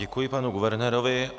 Děkuji panu guvernérovi.